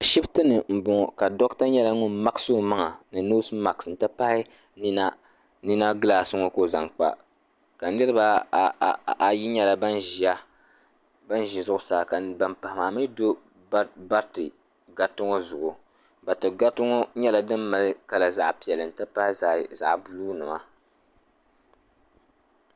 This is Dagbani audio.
Ashiptini m boŋɔ doɣata nyɛla ŋun maɣasi o maŋa ni noosi maaki n ti pahi nina gilaasi ŋɔ ka o zaŋ kpa ka niriba ayi ŋɔ nyɛ ban ʒi zuɣusaa ka ban pahi maa mee do bariti gariti ŋɔ zuɣu bariti gariti ŋɔ mali nyɛla din mali kala zaɣa piɛlli n ti pahi zaɣa buluu nima.